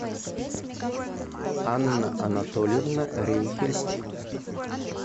анна анатольевна рейхель